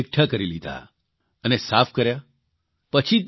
જેને તેમણે એકઠા કરી લીધા અને સાફ કર્યા